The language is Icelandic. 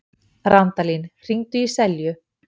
Randalín, hringdu í Selju.